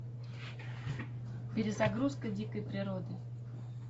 перезагрузка дикой природы